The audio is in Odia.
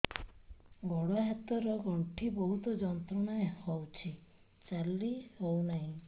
ଗୋଡ଼ ହାତ ର ଗଣ୍ଠି ବହୁତ ଯନ୍ତ୍ରଣା ହଉଛି ଚାଲି ହଉନାହିଁ